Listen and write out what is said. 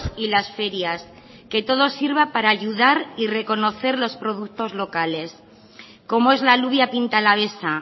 y las ferias que todo sirva para ayudar y reconocer los productos locales como es la alubia pinta alavesa